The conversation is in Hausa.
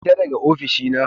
Fita daga ofishina